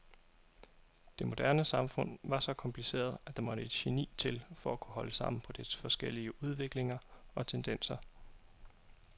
Det moderne samfund var så kompliceret at der måtte et geni til for at kunne holde sammen på dets forskellige udviklinger og tendenser.